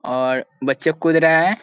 और बच्चे कुद रहे है।